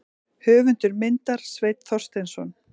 Höfundur myndar: Sveinn Þorsteinsson.